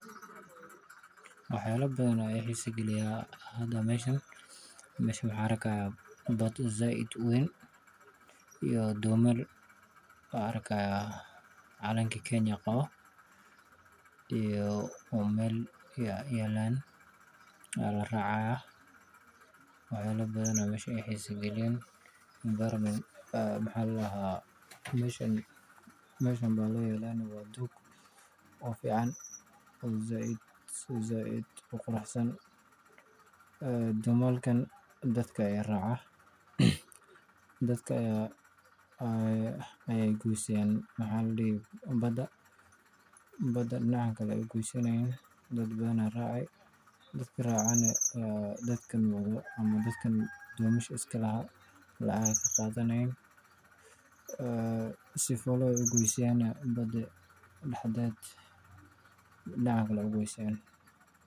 Waxa badan i xiisa geliya, waxaan u jeedaa baad weyn iyo dhir, oo calanka Kenya qabo, meel fiican yaalla oo la raacayo. Waxa i xiisa geliya deegaanka (environment) iyo dhog, meesha sida fiican ka muuqato. Dhoomanka dadka raacan badda dhinaca loo geeyana, dadka dhooman leh lacag bay ka qaadaan dadka raca si loogu geeyo badda.